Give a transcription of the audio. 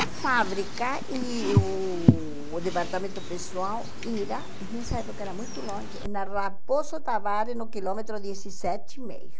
A fábrica e o o departamento pessoal era, nessa época era muito longe, na Raposo Tavares, no quilômetro dezessete e meio.